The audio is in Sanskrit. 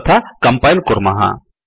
तथा कम्पयिल् कुर्मः